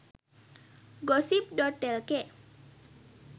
gossip.lk